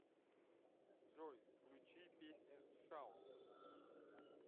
джой включи песня шаут